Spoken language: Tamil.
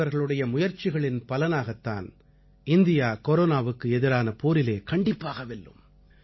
உங்களைப் போன்றவர்களுடைய முயற்சிகளின் பலனாகத்தான் இந்தியா கொரோனாவுக்கு எதிரான போரிலே கண்டிப்பாக வெல்லும்